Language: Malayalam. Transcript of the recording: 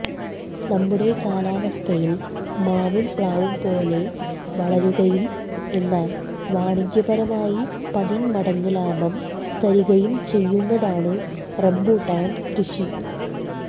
നമ്മുടെ കാലാവസ്ഥയിൽ മാവും പ്ലാവും പോലെ വളരുകയും എന്നാൽ വാണിജ്യപരമായി പതിന്മടങ്ങ് ലാഭം തരികയും ചെയ്യുന്നതാണ് റമ്പൂട്ടാൻകൃഷി